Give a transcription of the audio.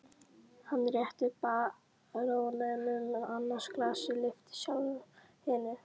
Hann rétti baróninum annað glasið, lyfti sjálfur hinu.